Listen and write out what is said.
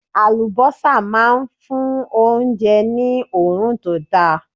Àlùbọ́sà máa ń fún oúnjẹ ní òórùn tó da.